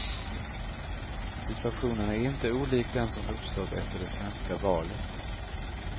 Situationen är inte olik den som uppstått efter det svenska valet.